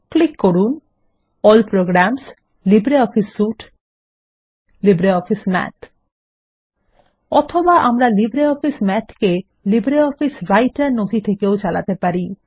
click করুন A L L প্রোগ্রামসগ্টগট LibreOffice সুইটেগটগট লিব্রিঅফিস মাথ অথবা আমরা লিব্রিঅফিস Math কে লিব্রিঅফিস রাইটের নথি থেকেও চালাতে পারি